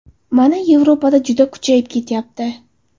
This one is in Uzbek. Mana, Yevropada juda kuchayib ketyapti.